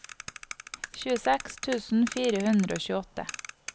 tjueseks tusen fire hundre og tjueåtte